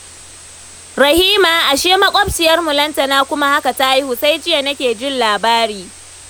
Rahima, ashe maƙwabciyarmu Lantana kuma haka ta haihu? Sai jiya nake jin labari